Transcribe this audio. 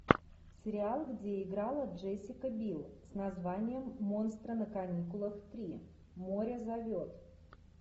сериал где играла джессика бил с названием монстры на каникулах три море зовет